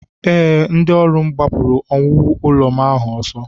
Ee, ndị ọrụ m gbapụrụ owuwu ụlọ m ahụ ọsọ